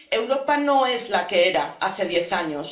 Europa no es la que era hace diez años.